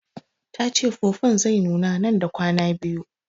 Tace fufun zai nuna nan da kwana biyu